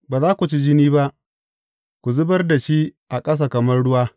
Ba za ku ci jini ba, ku zubar da shi a ƙasa kamar ruwa.